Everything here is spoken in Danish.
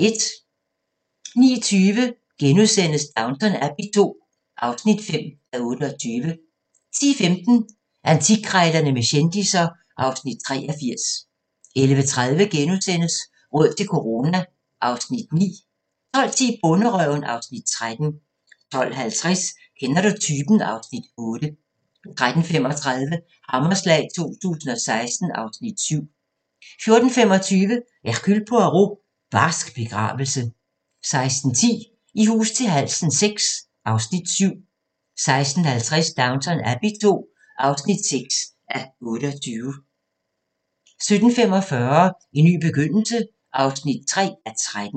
09:20: Downton Abbey II (5:28)* 10:15: Antikkrejlerne med kendisser (Afs. 83) 11:30: Råd til corona (Afs. 9)* 12:10: Bonderøven (Afs. 13) 12:50: Kender du typen? (Afs. 8) 13:35: Hammerslag 2016 (Afs. 7) 14:25: Hercule Poirot: Barsk begravelse 16:10: I hus til halsen VI (Afs. 7) 16:50: Downton Abbey II (6:28) 17:45: En ny begyndelse (3:13)